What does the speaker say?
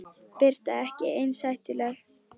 Birta: Ekki eins hættuleg?